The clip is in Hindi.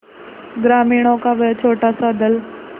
ग्रामीणों का वह छोटासा दल